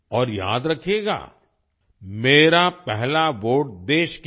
और याद रखिएगा मेरा पहला वोट देश के लिए